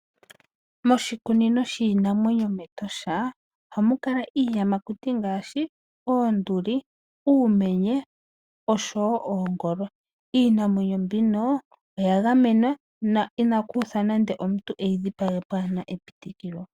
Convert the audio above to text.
Moshikunino shiinanwenyo metosha ohamu kala iiyamakuti ngaashi oonduli, uumenye oshowo oongolo. Iinamwenyo mbino oya gamenwa na inalu uthwa nande omuntu eyi dhipage kapena epitikilo.